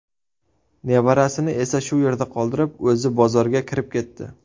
Nevarasini shu yerda qoldirib, o‘zi bozorga kirib ketdi.